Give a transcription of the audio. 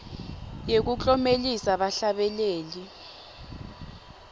yekuklomelisa bahlabeleli